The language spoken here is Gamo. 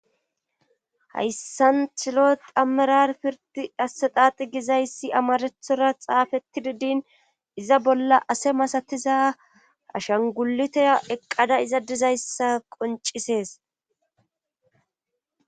Hayssan tilo tammarar pirti hassexaaxi gizayssi amarethora xaafetti didin iza bolla ase masatiza shangulitaya eqqada iza dizayssa qoncisees.